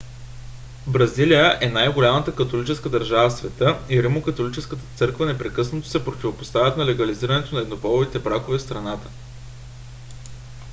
бразилия е най - голямата католическа държава в света и римокатолическата църква непрекъснато се противопоставят на легализирането на еднополовите бракове в страната